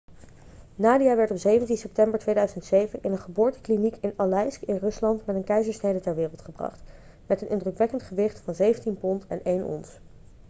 nadia werd op 17 september 2007 in een geboortekliniek in aleisk in rusland met een keizersnede ter wereld gebracht met een indrukwekkend gewicht van 17 pond en 1 ons